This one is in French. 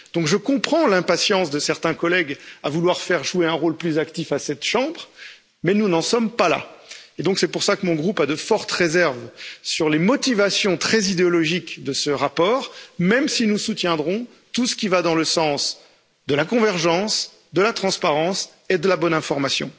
Donc, je comprends l'impatience de certains collègues à vouloir faire jouer un rôle plus actif à cette chambre, mais nous n'en sommes pas là. C'est pour cela que mon groupe a de fortes réserves sur les motivations très idéologiques de ce rapport, même si nous soutiendrons tout ce qui va dans le sens de la convergence, de la transparence et de la bonne information.